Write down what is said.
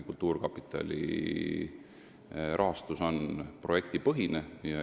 Kultuurkapitali rahastus on projektipõhine.